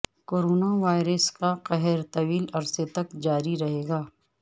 coronavirus کا قہر طویل عرصے تک جاری رہے گا